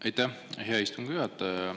Aitäh, hea istungi juhataja!